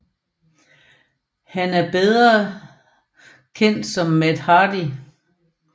Han er bedre kendt som Matt Hardy